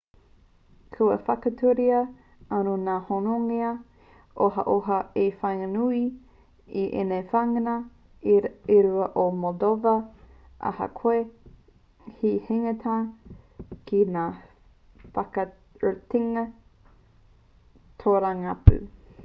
kua whakatūria anō ngā hononga ohaoha i waenganui i ēnei wāhanga e rua o moldova ahakoa te hinganga ki ngā whakaritenga tōrangapū